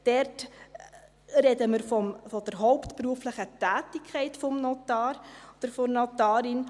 Dort sprechen wir von der hauptberuflichen Tätigkeit des Notars oder der Notarin.